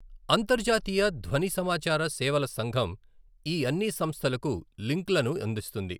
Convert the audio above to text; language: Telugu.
అంతర్జాతీయ ధ్వని సమాచార సేవల సంఘం ఈ అన్ని సంస్థలకు లింక్లను అందిస్తుంది.